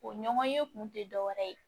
O ɲɔgɔnye kun te dɔwɛrɛ ye